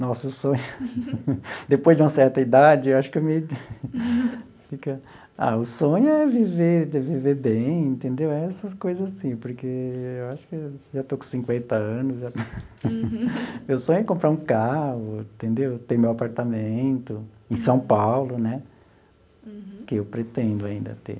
Nossa o sonho, depois de uma certa idade, eu acho que eu me fica...ah, o sonho é viver é viver bem entendeu, essas coisas assim, porque eu acho que...já estou com cinquenta anos já, meu sonho é comprar um carro, entendeu ter meu apartamento em São Paulo né, que eu pretendo ainda ter.